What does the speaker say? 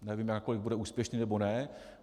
Nevíme, nakolik bude úspěšný, nebo ne.